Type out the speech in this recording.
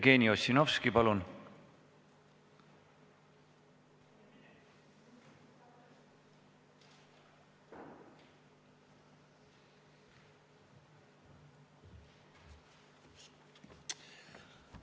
Jevgeni Ossinovski, palun!